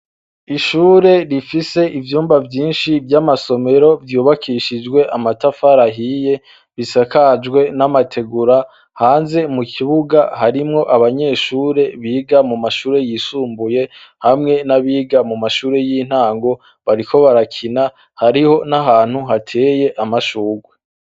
Ishure rifise ivyumba vyinshi vy'amasomero vyubakishijwe amatafar'ahiye, bisakajwe n'amategura, hanze mu kibuga harimwo abanyeshure biga mu mashure yisumbuye hamwe n'abiga mu mashure y'intango, bariko barakina hariho n'ahantu hateye amashurwe.